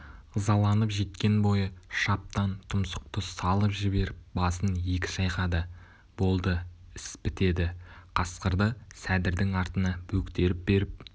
ызаланып жеткен бойы шаптан тұмсықты салып жіберіп басын екі шайқады болды іс бітеді қасқырды сәдірдің артына бөктеріп беріп